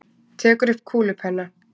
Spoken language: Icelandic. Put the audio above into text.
Tekur upp kúlupenna.